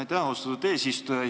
Aitäh, austatud eesistuja!